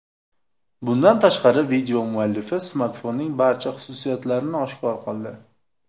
Bundan tashqari, video muallifi smartfonning barcha xususiyatlarini oshkor qildi.